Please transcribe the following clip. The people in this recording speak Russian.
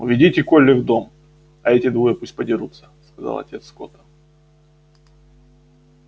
уведите колли в дом а эти двое пусть подерутся сказал отец скотта